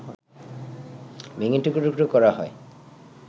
ভেঙে টুকরো টুকরো করা হয়